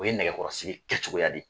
O ye nɛgɛkɔrɔsi kɛ cogoya di.